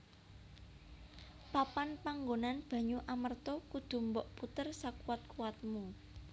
Papan panggonan banyu Amerta kudu mbok puter sakuwat kuwatmu